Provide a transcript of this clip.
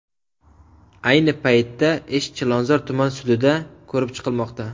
Ayni paytda ish Chilonzor tuman sudida ko‘rib chiqilmoqda.